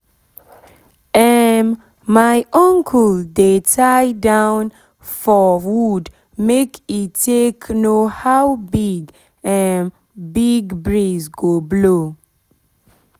um my uncle dey tie cloth for wood make e take know how big um big breeze go blow.